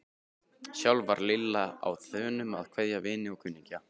Sjálf var Lilla á þönum að kveðja vini og kunningja.